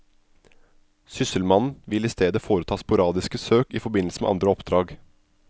Sysselmannen vil i stedet foreta sporadiske søk i forbindelse med andre oppdrag.